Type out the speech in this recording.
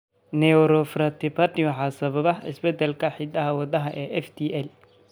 Neuroferritinopathy waxaa sababa isbeddellada hidda-wadaha FTL.